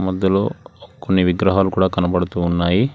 అందులో కొన్ని విగ్రహాలు కూడా కనబడుతూ ఉన్నాయి.